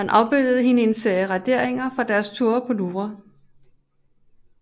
Han afbildede hende i en serie raderinger fra deres ture på Louvre